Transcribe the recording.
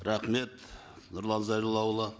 рахмет нұрлан зайроллаұлы